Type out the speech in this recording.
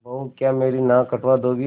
बहू क्या मेरी नाक कटवा दोगी